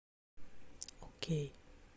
окей